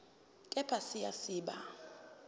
kepha siya siba